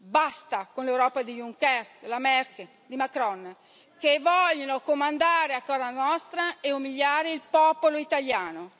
Basta con l'Europa di Juncker, della Merkel, di Macron, che vogliono comandare a casa nostra e umiliare il popolo italiano.